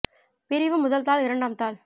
பிரிவு முதல் தாள் இரண்டாம் தாள்